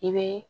I bɛ